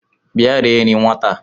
Bịa rie nri nwata a